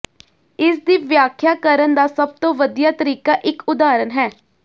ਇਸ ਦੀ ਵਿਆਖਿਆ ਕਰਨ ਦਾ ਸਭ ਤੋਂ ਵਧੀਆ ਤਰੀਕਾ ਇਕ ਉਦਾਹਰਣ ਹੈ